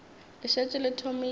le šetše le thomile ka